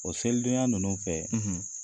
O selidonya ninnu fɛ